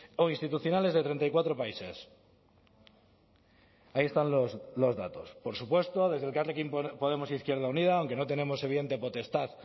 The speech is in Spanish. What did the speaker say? o institucionales de treinta y cuatro países ahí están los datos por supuesto desde elkarrekin podemos izquierda unida aunque no tenemos evidente potestad